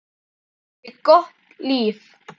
Hann átti gott líf.